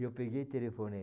eu peguei e telefonei.